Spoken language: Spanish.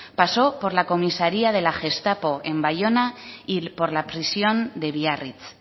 pasó por la comisaria de la gestapo en baiona y por la prisión de biarritz